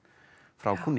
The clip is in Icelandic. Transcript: frá kúnni